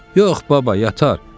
Yox, baba, yatar.